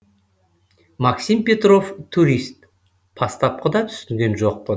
максим петров турист бастапқыда түсінген жоқпын